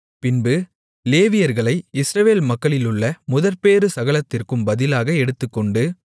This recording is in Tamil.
பின்பு லேவியர்களை இஸ்ரவேல் மக்களிலுள்ள முதற்பேறு சகலத்திற்கும் பதிலாக எடுத்துக்கொண்டு